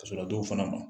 Ka sɔrɔ a dɔw fana ma